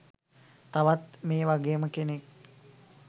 තවත් මේ වගේම කෙනෙක්